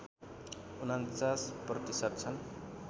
४९ प्रतिशत छन्